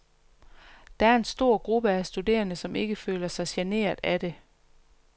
Der er en stor gruppe af studerende, som ikke føler sig generet af det.